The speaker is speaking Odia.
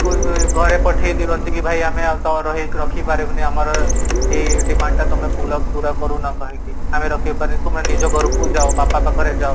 ତୁ ଘରେ ପଠେଇ ଦିଅନ୍ତି କି ଭାଇ ଆମେ ଆଉ ତ ଟରୋ ରଖି ପାରିବୁନି ଆମର